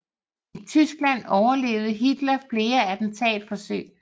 I Tyskland overlevede Hitler flere attentatforsøg